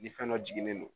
Ni fɛn dɔ jiginnen don